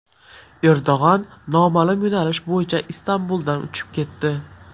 Erdo‘g‘on noma’lum yo‘nalish bo‘yicha Istanbuldan uchib ketdi.